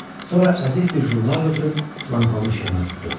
Sonra əzik bir jurnal götürüb lampanın işığına tutdu.